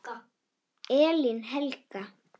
Elín Helga.